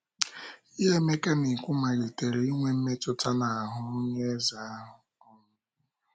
Ihe Emeka na - ekwu malitere inwe mmetụta n’ahụ́ onye eze ahụ um. um